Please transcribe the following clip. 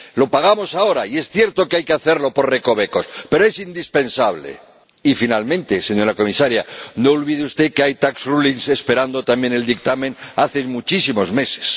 Lo pagamos ahora y es cierto que hay que hacerlo por recovecos, pero es indispensable. Y finalmente, señora Comisaria, no olvide usted que hay tax rulings esperando también el dictamen hace muchísimos meses.